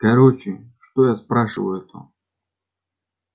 короче что я спрашиваю-то